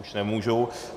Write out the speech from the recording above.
Už nemůžu.